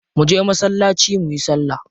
Mu je masallaci muyi salla.